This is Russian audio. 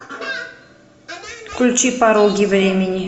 включи пороги времени